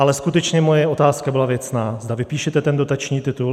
Ale skutečně moje otázka byla věcná: zda vypíšete ten dotační titul.